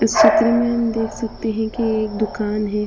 इस चित्र में हम देख सकते है कि एक दुकान हैं ।